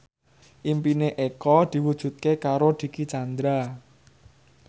impine Eko diwujudke karo Dicky Chandra